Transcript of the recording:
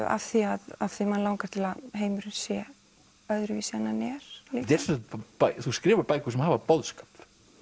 af því að mann langar til að heimurinn sé öðruvísi en hann er líka þú skrifar bækur sem hafa boðskap